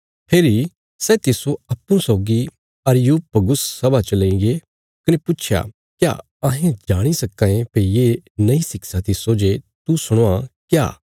फेरी सै तिस्सो अप्पूँ सौगी अरियुपगुस सभा च लईगे कने पुच्छया क्या अहें जाणी सक्कां यें भई ये नई शिक्षा तिस्सो जे तू सणवां क्या